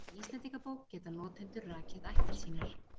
Í Íslendingabók geta notendur rakið ættir sínar.